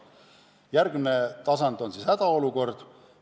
Järgmine tasand on hädaolukord.